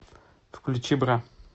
включи бра